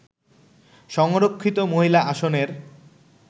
সংরক্ষিত মহিলা আসনের